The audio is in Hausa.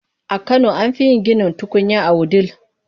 A kano an fi yin ginin tukunya a Wudil.